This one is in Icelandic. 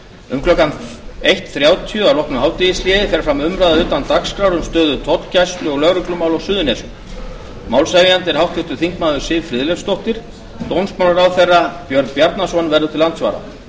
um klukkan eitt þrjátíu að loknu hádegishléi fer fram umræða utan dagskrár um stöðu tollgæslu og lögreglumál á suðurnesjum málshefjandi er háttvirtur þingmaður siv friðleifsdóttir dómsmálaráðherra björn bjarnason verður til andsvara